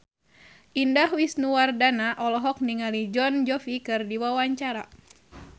Indah Wisnuwardana olohok ningali Jon Bon Jovi keur diwawancara